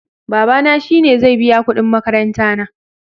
Babana shi ne zai biya kudin makaranta na